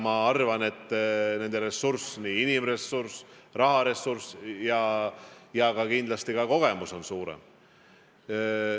Ma arvan, et nende ressurss – inimressurss, raharessurss ja kindlasti ka kogemus – on suurem.